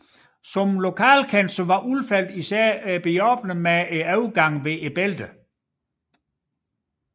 Som lokalkendt var Ulfeldt især behjælpelig ved overgangen over bælterne